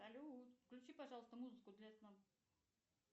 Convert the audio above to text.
салют включи пожалуйста музыку для сна